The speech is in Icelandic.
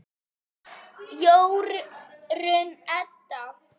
Jórunn Edda.